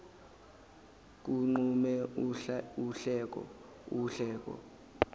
kuqhume uhleko uhleko